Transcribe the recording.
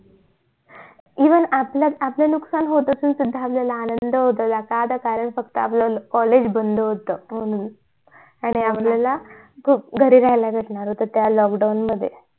even आपलं नुस्कान होत असून सुद्धा आपल्याला आनंद होत होता का त कारण फक्त आपलं college बंद होत म्हणून आणि आपल्याला खूप घरी राहायला भेटणार होत त्या lockdown मध्ये